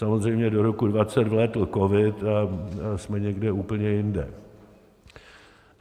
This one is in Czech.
Samozřejmě do roku 2020 vlétl covid a jsme někde úplně jinde.